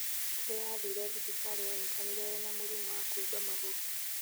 Rĩrĩa athire thibitarĩ onekanire ena mũrimũ wa kũimba magũrũ